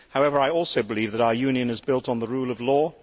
However, I also believe that our Union is built on the rule of law.